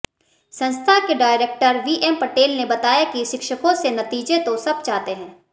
संस्था के director VM Patel ने बताया कि शिक्षकों से नतीजे तो सब चाहते हैं